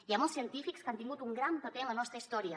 hi ha molts científics que han tingut un gran paper en la nostra història